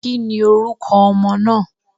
Kí ni orúkọ ọmọ náà?